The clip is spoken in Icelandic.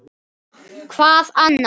Hvað annað?!